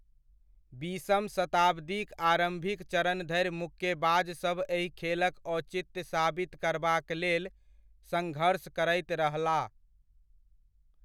बीसम शताब्दीक आरम्भिक चरण धरि मुक्केबाज सभ एहि खेलक औचित्य साबित करबाक लेल सङ्घर्ष करैत रहलाह।